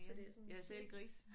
Så det sådan en cirkel